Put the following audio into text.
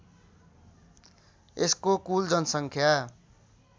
यसको कुल जनसङ्ख्या